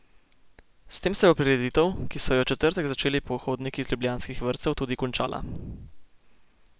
S tem se bo prireditev, ki so jo v četrtek začeli pohodniki iz ljubljanskih vrtcev, tudi končala.